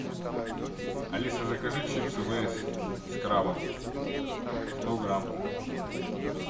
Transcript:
алиса закажи чипсы лейс с крабом сто грамм